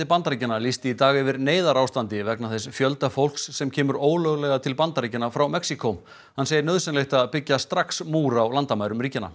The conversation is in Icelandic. Bandaríkjanna lýsti í dag yfir neyðarástandi vegna þess fjölda fólks sem kemur ólöglega til Bandaríkjanna frá Mexíkó hann segir nauðsylegt að byggja strax múr á landamærum ríkjanna